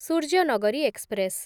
Suryanagari express